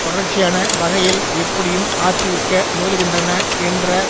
தொடர்ச்சியான வகையில் எப்படியும் ஆற்றுவிக்க முயலுகின்றன என்ற